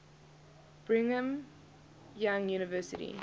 brigham young university